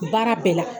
Baara bɛɛ la